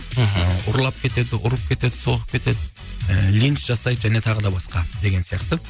мхм ұрлап кетеді ұрып кетеді соғып кетеді линс жасайды және тағы да басқа деген сияқты